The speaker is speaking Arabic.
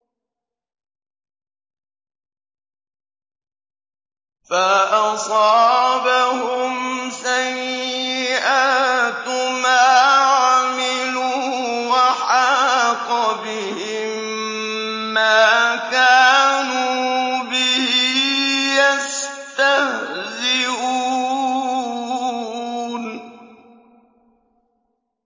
فَأَصَابَهُمْ سَيِّئَاتُ مَا عَمِلُوا وَحَاقَ بِهِم مَّا كَانُوا بِهِ يَسْتَهْزِئُونَ